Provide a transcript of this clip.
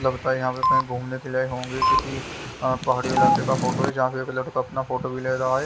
लगता हैयहाँ पे कहीं घूमने के लिए आए होंगे किसी पहाड़ी इलाके का फोटो हैजहाँ पे एक लड़का अपना फोटो भी ले रहा है।